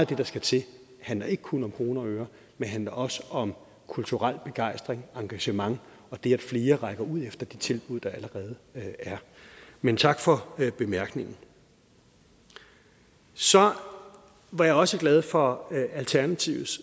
det der skal til handler ikke kun om kroner og øre men også om kulturel begejstring engagement og det at flere rækker ud efter de tilbud der allerede er men tak for bemærkningen så var jeg også glad for alternativets